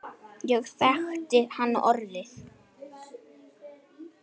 Ég þekkti hann orðið.